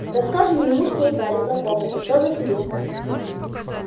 расскажем ему что узнали про комнату про василиска